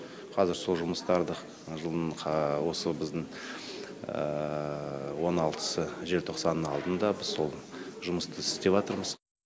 қазір сол жұмыстарды жылдың осы біздің он алтысы желтоқсанның алдында біз сол жұмысты істеватырмыз